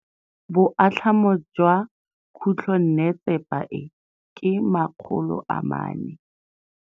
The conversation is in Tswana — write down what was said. Boatlhamô jwa khutlonnetsepa e, ke 400.